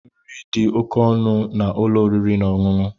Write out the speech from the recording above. Nri di òkè ọnụ na ụlọ oriri na ọṅụṅụ.